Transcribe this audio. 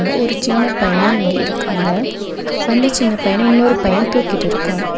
அ ஒரு சின்ன பையனு இங்க இருக்காங்க அந்த சின்ன பையன இன்னொரு பைய தூக்கிட்ருக்க.